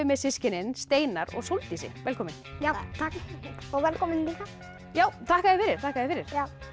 með systkinin Steinar og Þórdísi velkomin takk og velkomin líka já þakka já þakka þér fyrir